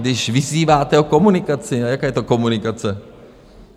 Když vyzýváte o komunikaci - a jaká je to komunikace?